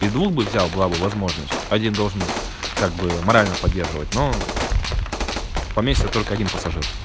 и двух бы взял была бы возможность один должен как бы морально поддерживать ну поместится только один пассажир